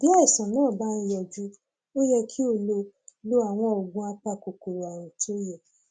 bí àìsàn bá ń yọjú ó yẹ kí o lo lo àwọn oògùn apakòkòrò ààrùn tó yẹ